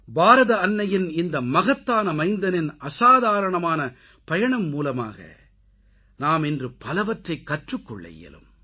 பாரத அன்னையின் இந்த மகத்தான மைந்தனின் அசாதாரணமான பயணம் மூலமாக நாம் இன்று பலவற்றைக் கற்றுக் கொள்ள இயலும்